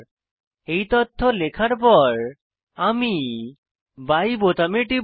এই তথ্য লেখার পর আমি বাই বোতামে টিপব